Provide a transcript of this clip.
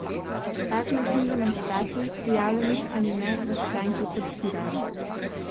Tak način demonstracij, prijavljenih ali ne, v stranki podpirajo.